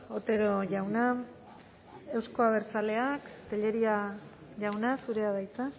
otero jauna euzko abertzaleak tellería jauna zurea da hitza